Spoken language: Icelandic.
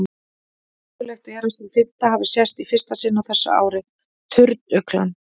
Mögulegt er að sú fimmta hafi sést í fyrsta sinn á þessu ári, turnuglan.